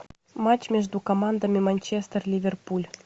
матч между командами манчестер ливерпуль